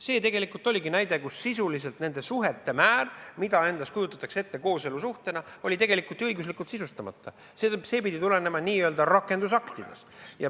See oligi näide, kus sisuliselt nende suhete mõiste, mida kujutatakse ette kooselusuhetena, oli tegelikult ju õiguslikult sisustamata, see pidi tulenema n-ö rakendusaktidest.